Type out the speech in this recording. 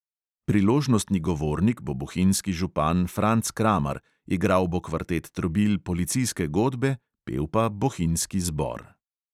Priložnostni govornik bo bohinjski župan franc kramar, igral bo kvartet trobil policijske godbe, pel pa bohinjski zbor.